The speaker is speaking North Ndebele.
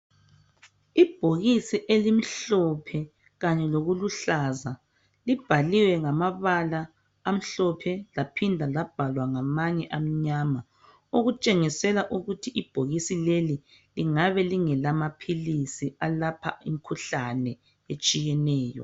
Ibhokisi elimhlophe kanye lokuluhlaza libhaliwe ngamabala amhlophe laphinda labhalwa ngamanye amnyama okutshengisela ukuthi ibhokisi leli lingabe lingelamaphilisi alapha imkhuhlane etshiyeneyo.